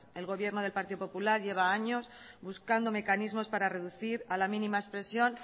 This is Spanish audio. el gobierno del partido popular lleva años buscando mecanismos para reducir a la mínima expresión